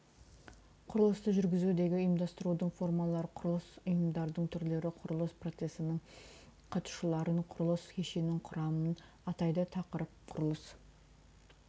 құрылысты жүргізудегі ұйымдастырудың формалары құрылыс ұйымдарының түрлері құрылыс процесінің қатысушыларын құрылыс кешенінің құрамын атайды тақырып құрылыс